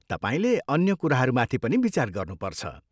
तपाईँले अन्य कुराहरूमाथि पनि विचार गर्नुपर्छ।